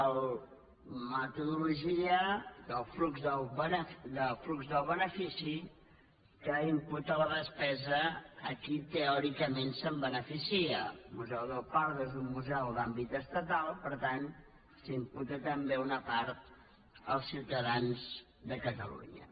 la metodologia del flux del benefici que imputa la despesa a qui teòricament se’n beneficia el museu del prado és un museu d’àmbit estatal per tant se n’imputa també una part als ciutadans de catalunya